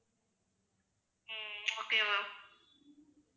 um okay ma'am